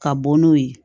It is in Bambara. Ka bɔ n'o ye